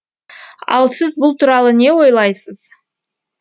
ал сіз бұл туралы не ойлайсыз